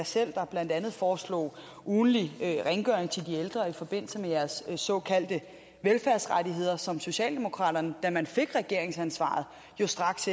selv der blandt andet foreslog ugentlig rengøring til de ældre i forbindelse med deres såkaldte velfærdsrettigheder som socialdemokraterne da man fik regeringsansvaret jo straks